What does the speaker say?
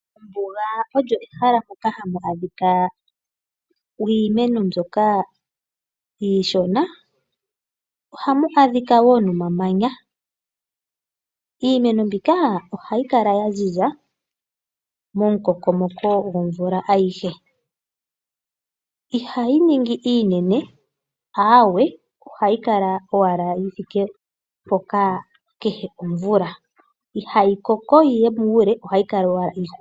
Ombuga olyo ehala moka hamu adhika iimeno mbyoka iishona ohamu adhika wo nomamanya. Iimeno mbika ohayi kala ya ziza momukokomoko gwomvula ayihe. Ihayi ningi iinene. Ohayi kala ashike yi thike mpoka kehe omvula, ihayi koko yiye muule